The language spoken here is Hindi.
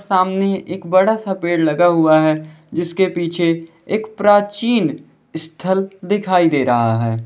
सामने एक बड़ा सा पेड़ लगा हुआ है जिसके पीछे एक प्राचीन स्थल दिखाई दे रहा है।